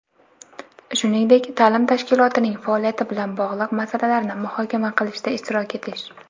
shuningdek taʼlim tashkilotining faoliyati bilan bog‘liq masalalarni muhokama qilishda ishtirok etish;.